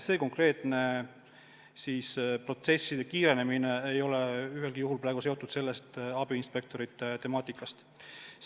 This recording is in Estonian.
See konkreetne protsesside kiirenemine ei ole mingil juhul seotud abiinspektorite teemaga.